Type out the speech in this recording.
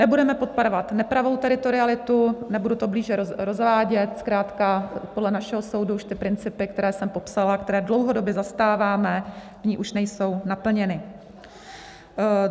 Nebudeme podporovat nepravou teritorialitu - nebudu to blíže rozvádět, zkrátka podle našeho soudu už ty principy, které jsem popsala, které dlouhodobě zastáváme, v ní už nejsou naplněny.